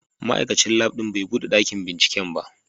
Ma'aikacin Lab din bai bude dakin binciken ba.